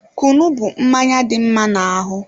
Kunu bụ mmanya dị mma n'ahụ